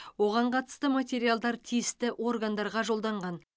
оған қатысты материалдар тиісті органдарға жолданған